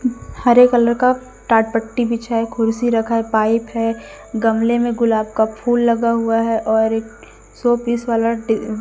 हरे colour का टाट पट्टी बिछा है खुर्सी रखा है पाइप है गमले में गुलाब का फूल लगा हुआ है और एक शो पीस वाला टे--